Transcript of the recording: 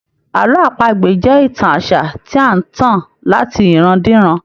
Àlọ́ àpagbè jẹ́ ìtàn àṣà tí à ń tàn láti iran-diran.